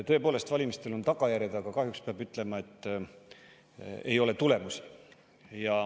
Tõepoolest, valimistel on tagajärjed, aga kahjuks peab ütlema, et ei ole tulemusi.